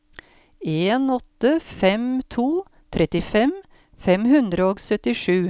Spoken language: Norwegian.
en åtte fem to trettifem fem hundre og syttisju